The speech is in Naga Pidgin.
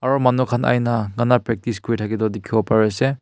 aro manu khan Aina ganna practice kurithake tu dikhiwo pariase.